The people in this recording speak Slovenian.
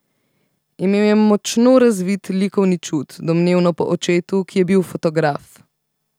Imel je močno razvit likovni čut, domnevno po očetu, ki je bil fotograf.